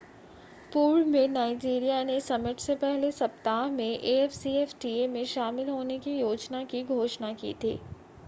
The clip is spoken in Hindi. पूर्व में नाइज़ीरिया ने समिट से पहले सप्ताह में afcfta में शामिल होने की योजना की घोषणा की थी